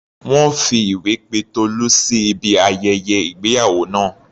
Wọ́n fi ìwé pe Tolú sí ibi ayẹyẹ ìgbéyàwó náà.